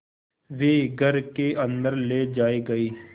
वे घर के अन्दर ले जाए गए